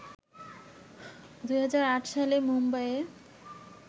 ২০০৮ সালে মুম্বাইয়ে